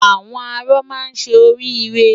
Àwọn arọ máa ṣe orí irẹ.